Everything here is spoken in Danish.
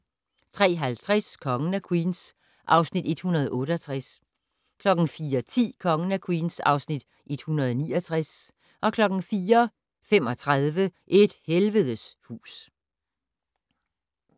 03:50: Kongen af Queens (Afs. 168) 04:10: Kongen af Queens (Afs. 169) 04:35: Et helvedes hus